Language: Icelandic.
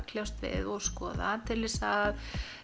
kljást við og skoða til þess að